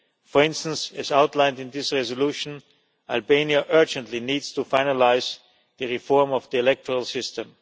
For instance, as outlined in this resolution, Albania urgently needs to finalise the reform of the electoral system.